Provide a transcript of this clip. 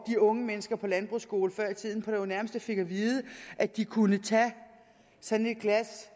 de unge mennesker på landbrugsskole før i tiden jo på det nærmeste fik at vide at de kunne tage sådan et glas